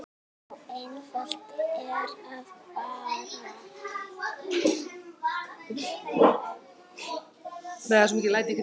Svo einfalt er það bara.